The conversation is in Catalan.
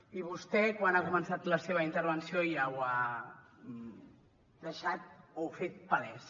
i vostè quan ha començat la seva intervenció ja ho ha deixat o fet palès